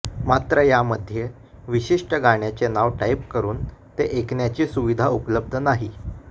मात्र यामध्ये विशिष्ट गाण्याचे नाव टाइप करून ते ऐकण्याची सुविधा उपलब्ध नाही